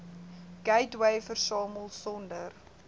gateway versamel sonder